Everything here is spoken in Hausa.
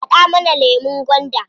Haɗa mana lemun gwanda.